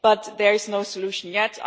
But there is no solution yet.